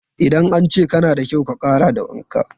In an ce kana da kyau, ka ƙara da wanka.